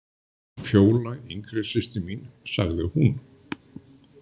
Fjóla yngri systir mín, sagði hún.